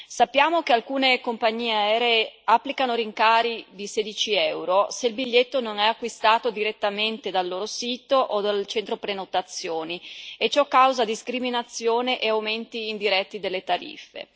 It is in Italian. Sappiamo che alcune compagnie aeree applicano rincari di 16 euro se il biglietto non è acquistato direttamente dal loro sito o dal loro centro prenotazioni e ciò causa discriminazione e aumenti indiretti delle tariffe.